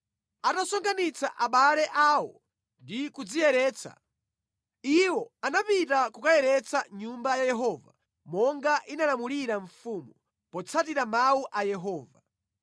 Atasonkhanitsa abale awo ndi kudziyeretsa, iwo anapita kukayeretsa Nyumba ya Yehova, monga inalamulira mfumu, potsatira mawu a Yehova.